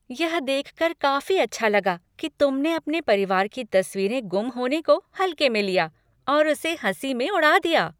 यह देखकर काफी अच्छा लगा कि तुमने अपने परिवार की तस्वीरें गुम होने को हल्के में लिया और उसे हँसी में उड़ा दिया।